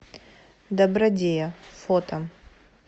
добродея фото